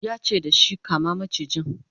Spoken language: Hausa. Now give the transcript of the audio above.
yace dashi "kama macijin!